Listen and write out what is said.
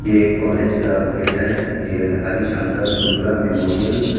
यह एक कॉलेज का गेट है यह हरी शंकर शुक्ला मेमोरियल --